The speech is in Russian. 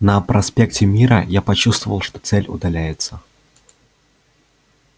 на проспекте мира я почувствовал что цель удаляется